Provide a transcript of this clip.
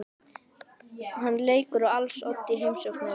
Hann leikur á als oddi í heimsókninni.